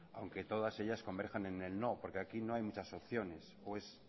aunque todas ellas converjan en el no porque aquí no hay muchas opciones o es